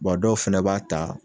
dɔw fɛnɛ b'a ta